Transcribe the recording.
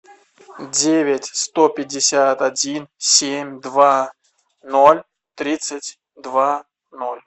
девять сто пятьдесят один семь два ноль тридцать два ноль